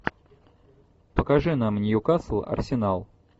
покажи нам ньюкасл арсенал